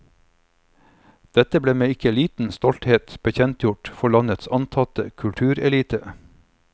Dette ble med ikke liten stolthet bekjentgjort for landets antatte kulturelite.